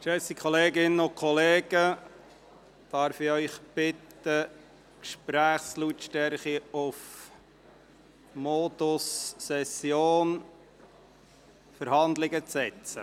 Geschätzte Kolleginnen und Kollegen, darf ich Sie bitten, die Gesprächslautstärke in den Modus Session/Verhandlungen zu setzen?